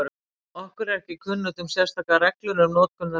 Okkur er ekki kunnugt um sérstakar reglur um notkun þessa tákns.